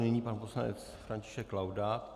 Nyní pan poslanec František Laudát.